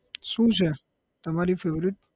શુ છે તમારી favourite?